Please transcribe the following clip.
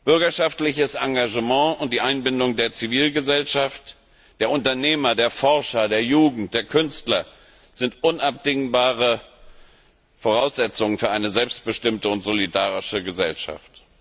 Bürgerschaftliches Engagement und die Einbindung der Zivilgesellschaft, der Unternehmer, der Forscher, der Jugend, der Künstler sind unabdingbare Voraussetzungen für eine selbstbestimmte und solidarische Gesellschaft.